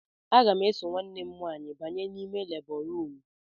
Aga m eso nwanne m nwaanyị banye n'ime lebọ ruum.